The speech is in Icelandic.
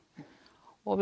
og